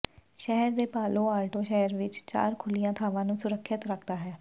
ਸ਼ਹਿਰ ਦੇ Palo Alto ਸ਼ਹਿਰ ਵਿੱਚ ਚਾਰ ਖੁੱਲ੍ਹੀਆਂ ਥਾਵਾਂ ਨੂੰ ਸੁਰੱਖਿਅਤ ਰੱਖਦਾ ਹੈ